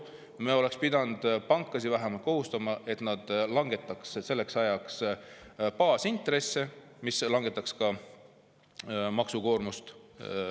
Me oleks pidanud pankasid kohustama vähemalt selleks, et nad langetaks selleks ajaks baasintresse, mis oleks langetanud ka laenuvõtjate maksukoormust.